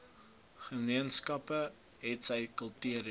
gemeenskappe hetsy kultureel